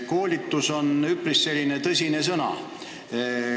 "Koolitus" on üpris tõsine sõna.